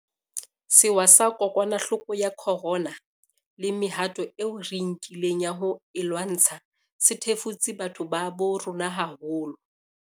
Sewa sa kokwanahloko ya corona le mehato eo re e nkileng ya ho e lwantsha se thefutse batho ba bo rona haholo.